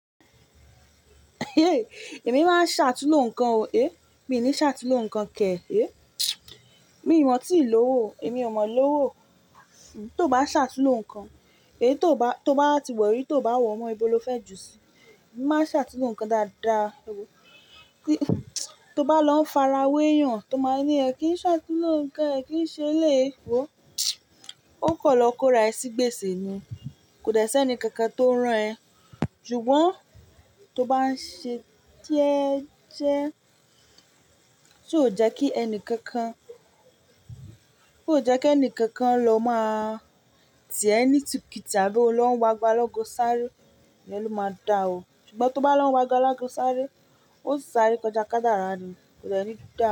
Émi máa ń ṣàtúnló nǹkan o, é. Mi ò ní ṣàtúnló nǹkan kẹ̀ ẹ, é. Mi ò maa tí ì lọ́wọ́, èmi ò maa lọ́wọ́. Tó bá ṣàtúnló nǹkan, èyí tó bá, tó bá ti wori, tó bá wọ̀ mọ́ ibo lófẹ́ jù síi, mo máa n ṣàtúnló nǹkan dáadáa o. Tó bá lọ ń fara wé eeyan, tó máa ní ẹ̀ kí i ṣàtúnló nǹkan ẹ, kí i ṣe eleyi, wò ó kan lọ kóra ẹ sí gbèsè ni. Kò dẹ́ sẹ́ni kankan tó ran ẹ. Ṣùgbọ́n tó bá ń ṣe jẹẹ jẹ, ti o jẹ́ kí ẹni kankan, to jẹ́ kí ẹni kankan lọ máa tì ẹ ní itikuti abí o lọ ń wo ago alaago sáré, iyẹn lo máa dá o. Ṣùgbọ́n tó bá lọ ń wo ago alaago sáré, ó sáré kọjá kádàrà ni, kò dẹ ni da.